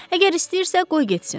Əgər istəyirsə qoy getsin.